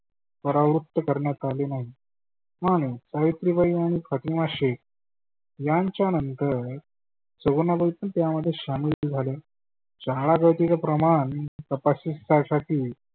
परावृत्त करण्यात आले नाही. आणि सावित्री बाई आणि फातीमा शेख यांच्या नंतर सगुनाबाई पण त्याच्यात सामील झाल्या. शाळा जातीच प्रमाण तपश्चर्यासाठी